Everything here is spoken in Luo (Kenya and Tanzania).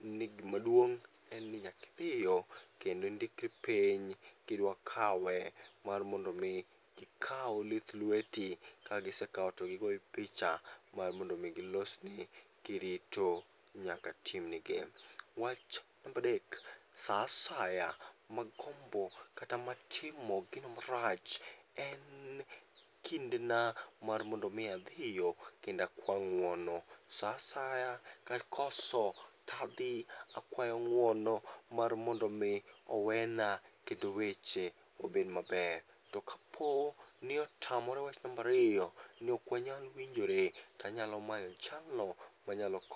ni gimaduong' en ni nyakidhiyo kendo indikri piny kidwakawe mar mondo mi gikaw lith lweti, kagisekawo to gigoyi picha mar mondo mi gilosni kirito nyaka timni gi. Wach nambadek: sa asaya magombo kata ma timo gino marach en kindena mar mondo mi adhiyo kendakwa ng'uono. Sa asaya kakoso tadhi akwa ng'uono mar mondo mi owena kendo weche obed maber. To kapo ni otamore wach nambariyo ni ok wanyal winjore, tanyalo manyo jalno manyalo ko.